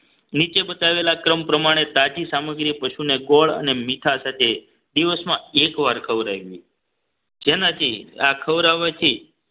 નીચે બતાવેલા ક્રમ પ્રમાણે તાજી સામગ્રી પશુને ગોળ અને મીઠા સાથે દિવસમાં એક વાર ખવડાવી જેનાથી આ ખવડાવવાથી